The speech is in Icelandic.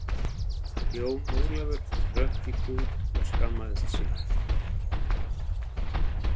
Jón Ólafur hrökk í kút og skammaðist sín.